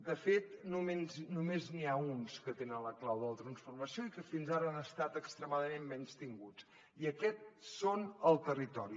de fet només n’hi ha uns que tenen la clau de la transformació i que fins ara han estat extremadament menystinguts i aquests són el territori